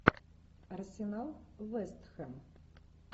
арсенал вест хэм